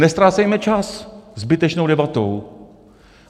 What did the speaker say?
Neztrácejme čas zbytečnou debatou.